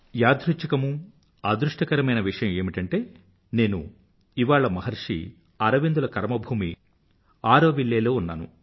యాదృఛ్ఛికమూ అదృష్టకరమైన విషయం ఏమిటంటే నేను ఇవాళ మహర్షి అరవిందుల కర్మభూమి ఆరోవిల్లె లో ఉన్నాను